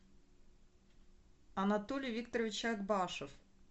анатолий викторович акбашев